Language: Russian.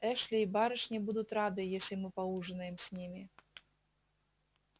эшли и барышни будут рады если мы поужинаем с ними